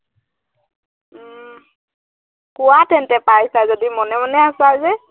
উম কোৱা তেন্তে পাইছা যদি, মনে মনে আছা যে